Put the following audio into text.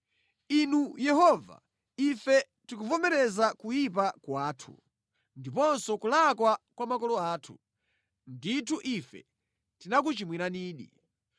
Inu Yehova, ife tikuvomereza kuyipa kwathu ndiponso kulakwa kwa makolo athu; ndithu ife tinakuchimwiranidi.